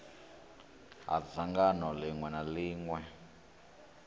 ha dzangano ḽiṅwe na ḽiṅwe